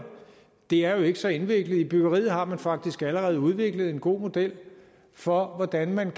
det er jo ikke så indviklet i byggeriet har man faktisk allerede udviklet en god model for hvordan man